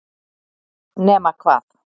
nema hvað